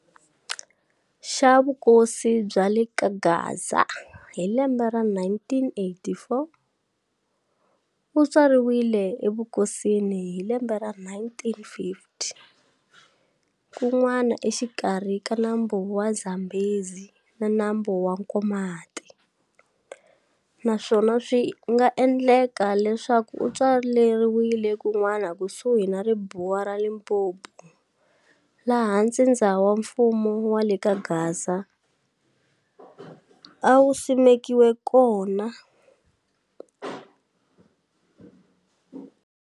Xa vukosi bya le kaGaza hi lembe ra 1884, u tswariwile e vukosini hi lembe ra 1850 kun'wana exikarhi ka nambu wa Zambhezi na nambu wa Nkomati, naswona swinga endleka leswaku u tswaleriwe kunwana kusuhi na ribuwa ra Limpopo laha ntsindza wa mfumo wale kaGaza a wu simekiwe kona.